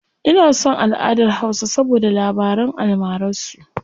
Ina son alʼadar hausa saboda labaran almarar su.